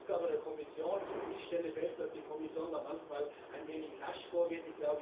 Das ist die Aufgabe der Kommission, und ich stelle fest, dass die Kommission da manchmal ein wenig lasch vorgeht.